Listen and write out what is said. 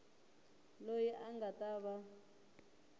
loyi a nga ta va